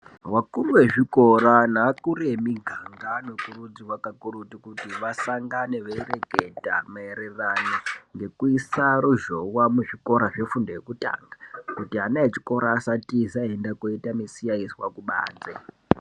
Vakuru vezvikora nevakuru emiganga vanokurudzirwa kakurutu kuti vasangane veireketa maererano nekuisa ruzhowa muzvikora zvefundo yekutanga kuti ana echikora asatiza einoita musiyaiswa kubanze.